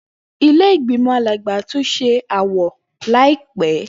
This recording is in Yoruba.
Ile-igbimọ Alagba tun ṣe awọ laipẹ.